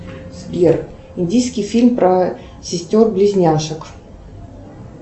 сбер индийский фильм про сестер близняшек